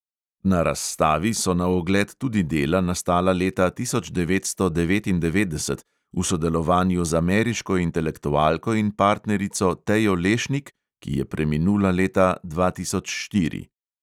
Na razstavi so na ogled tudi dela, nastala leta tisoč devetsto devetindevetdeset v sodelovanju z ameriško intelektualko in partnerico tejo lešnik, ki je preminula leta dva tisoč štiri.